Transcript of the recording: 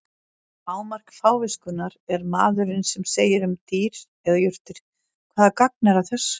Hámark fáviskunnar er maðurinn sem segir um dýr eða jurtir: Hvaða gagn er að þessu?